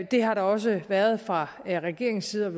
det har der også været fra regeringens side